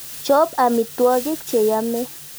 Chop amitwogik che yame.